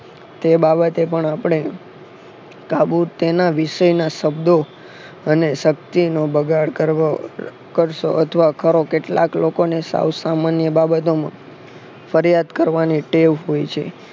તે બાબતે પણ આપણે કાબુ તેના વિશેના શબ્દો અને શક્તિનો બગાડ કરવો અથવા કરો કેટલાક લોકો ને સાવ સામાન્ય બાબતોમાં ફરિયાદ કરવાની ટેવ હોય છે.